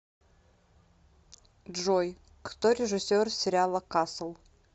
джой кто режиссер сериала касл